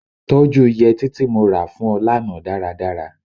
Tọ́jú yẹtí tí mo ra fún ọ lánàá dáradára.